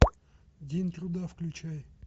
день труда включай